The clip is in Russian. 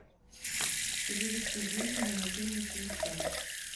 перевести деньги на мобильный телефон